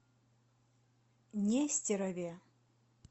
нестерове